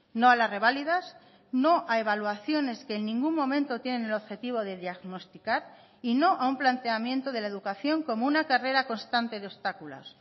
no a las reválidas no a evaluaciones que en ningún momento tienen el objetivo de diagnosticar y no a un planteamiento de la educación como una carrera constante de obstáculos